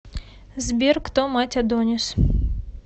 сбер кто мать адонис